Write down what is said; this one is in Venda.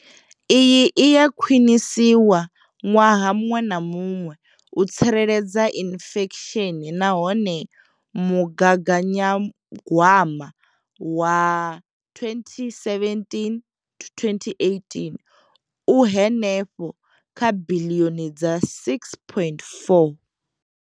Iyi i a khwiniswa ṅwaha muṅwe na muṅwe u tsireledza inflesheni nahone mugaganyagwama wa 2017 to 2018 u henefha kha biḽioni dza R6.4.